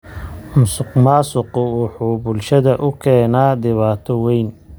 Musuqmaasuqu wuxuu bulshada u keenaa dhibaato weyn.